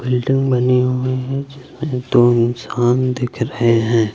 Building बनी हुई हैं जिसमे दो इंसान दिख रहे हैं।